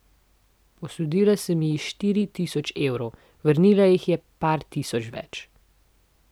Posodila sem ji štiri tisoč evrov, vrnila jih je par tisoč več.